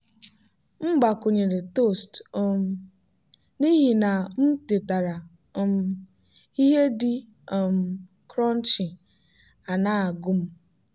m gbakwunyere toast um n'ihi na m tetara um ihe dị um crunchy a na-agu m.